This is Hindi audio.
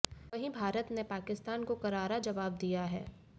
वहीं भारत ने पाकिस्तान को करारा जवाब दिया है